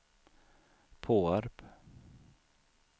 Påarp